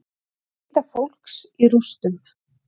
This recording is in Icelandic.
Leita fólks í rústum